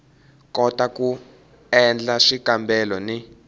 kota ku endla swikambelo ni